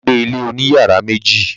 Bàbá gba ilé òní yàrá méjì.